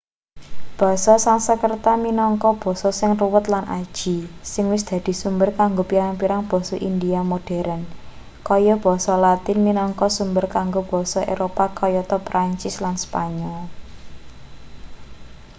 basa sansekrerta minangka basa sing ruwet lan aji sing wis dadi sumber kanggo pirang-pirang basa india modheren kaya basa latin minangka sumber kanggo basa eropa kayata prancis lan spanyol